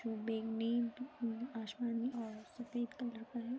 जो बैंगनी आशमानी और सफेद कलर का है।